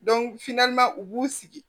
u b'u sigi